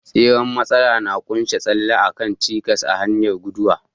Tseren matsalar na ƙunshi tsalle a kan cikas a hanyar guduwa.